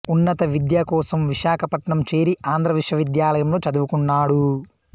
ఉన్నత విద్య కోసం విశాఖపట్నం చేరి ఆంధ్ర విశ్వవిద్యాలయంలో చదువుకున్నాడు